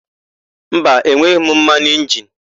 Mba, enweghị m mmanụ injini.